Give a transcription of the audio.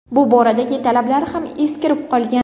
Bu boradagi talablar ham eskirib qolgan.